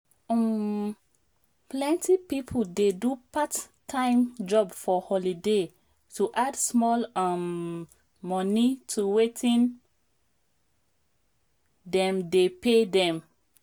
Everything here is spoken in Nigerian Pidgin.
um plenty people dey do part-time job for holiday to add small um money to wetin dem dey pay them